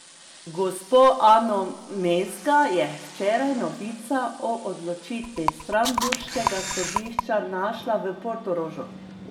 Gospo Ano Mezga je včeraj novica o odločitvi strasbourškega sodišča našla v Portorožu.